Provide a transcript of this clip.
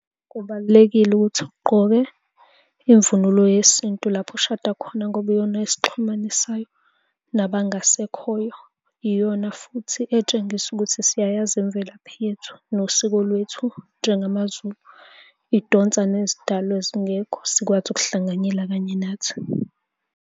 Kubalulekile ukuthi ugqoke imvunulo yesintu lapho ushada khona ngoba iyona esixhumanisayo nabangasekhoyo. Iyona futhi etshengisa ukuthi siyayazi imvelaphi yethu, nosiko lwethu, njengamazulu. Idonsa nezidalwa ezingekho zikwazi ukuhlanganyela kanye nathi.